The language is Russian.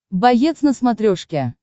боец на смотрешке